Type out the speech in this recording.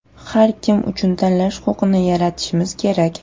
Har kim uchun tanlash huquqini yaratishimiz kerak.